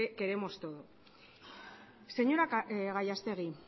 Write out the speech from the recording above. queremos todos señora gallastegui